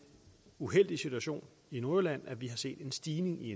uheldige situation i nordjylland at vi har set en stigning i